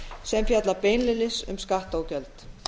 sem fjalla beinlínis um skatta og gjöld